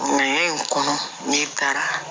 Ɲɛɲɛ in kɔnɔ nin taa